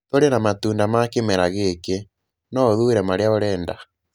Tũrĩ na matunda ma kĩmera gĩkĩ, no ũthuure marĩa ũrenda.